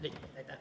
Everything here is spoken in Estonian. Aitäh!